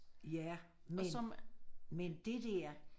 Ja men men det dér